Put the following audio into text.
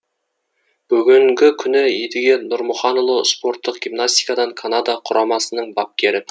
бүгінгі күні едіге нұрмаханұлы спорттық гимнастикадан канада құрамасының бапкері